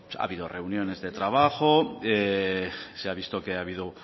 ha habido reuniones de trabajo se ha visto que ha habido